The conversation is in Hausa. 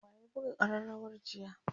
wa ya buga karrawar jiya?